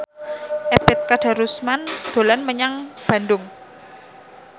Ebet Kadarusman dolan menyang Bandung